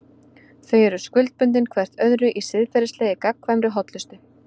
Þau eru skuldbundin hvert öðru í siðferðilegri, gagnkvæmri hollustu.